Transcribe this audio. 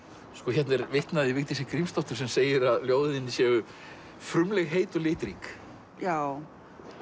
hérna er vitnað í Vigdísi Grímsdóttur sem segir að ljóðin þín séu frumleg heit og litrík já